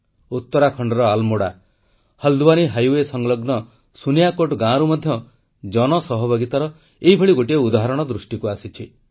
ଉତ୍ତରାଖଣ୍ଡର ଆଲ୍ମୋଡ଼ା ହଲ୍ଡୱାନୀ ହାଇୱେ ସଂଲଗ୍ନ ସୁନିଆକୋଟ ଗାଁରୁ ମଧ୍ୟ ଜନସହଭାଗିତାର ଏଭଳି ଗୋଟିଏ ଉଦାହରଣ ଦୃଷ୍ଟିକୁ ଆସିଛି